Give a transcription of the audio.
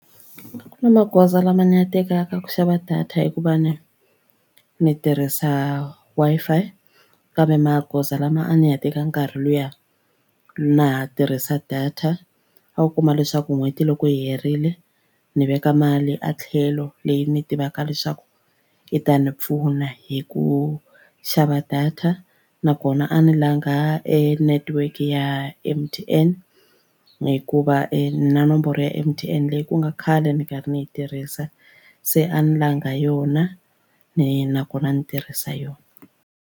Ku na magoza lama ni ya tekaka ku xava data hikuva ni ni tirhisa Wi-Fi kambe magoza lama a ni ya teka nkarhi lowuya na ha tirhisa data a wu kuma leswaku n'hweti loko yi herile ni veka mali etlhelo leyi ni tivaka leswaku yi ta ni pfuna hi ku xava data nakona a ni langha e netiweke ya M_T_N hikuva na nomboro ya M_T_N leyi ku nga khale ni karhi ni yi tirhisa se a ni langha yona ni nakona ni tirhisa yona.